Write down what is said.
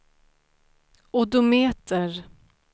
odometer